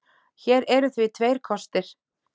Hér eru því tveir kostir